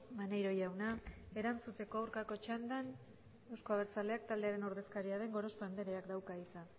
maneiro jauna erantzuteko aurkako txandan euzko abertzaleak taldearen ordezkaria den gorospe andreak dauka hitza